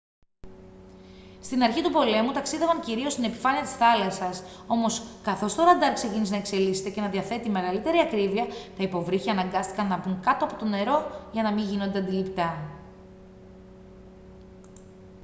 στην αρχή του πολέμου ταξίδευαν κυρίως στην επιφάνεια της θάλασσας όμως καθώς το ραντάρ ξεκίνησε να εξελίσσεται και να διαθέτει μεγαλύτερη ακρίβεια τα υποβρύχια αναγκάστηκαν να μπουν κάτω από το νερό για να μην γίνονται αντιληπτά